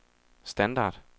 standard